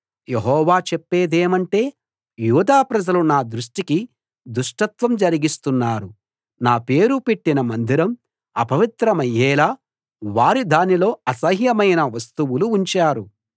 యెహోవా చెప్పేదేమంటే యూదా ప్రజలు నా దృష్టికి దుష్టత్వం జరిగిస్తున్నారు నా పేరు పెట్టిన మందిరం అపవిత్రమయ్యేలా వారు దానిలో అసహ్యమైన వస్తువులు ఉంచారు